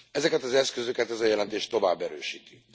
Ezeket az eszközöket ez a jelentés tovább erősíti.